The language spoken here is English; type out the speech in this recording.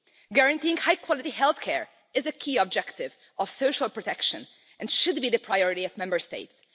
Guaranteeing high quality health care is a key objective of social protection and should be the priority of Member States.